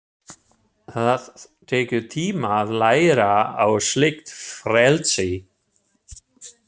Það tekur tíma að læra á slíkt frelsi.